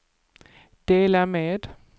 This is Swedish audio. dela med